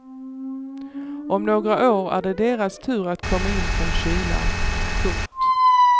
Om några år är det deras tur att komma in från kylan. punkt